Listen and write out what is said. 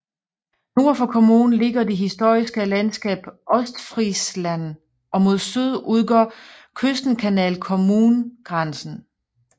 Nord for kommunen ligger det historiske landskab Ostfriesland og mod syd udgør Küstenkanal kommungrænsen